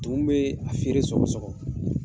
Tumun bɛ a feere sɔrɔ sɔgɔ